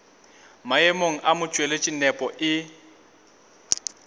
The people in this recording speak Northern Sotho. maemong a motšweletši nepo e